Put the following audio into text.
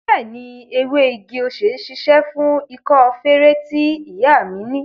Bẹẹni, ewé igi-osè ṣíṣe fún ikọ́ feré tí ìyá mi ni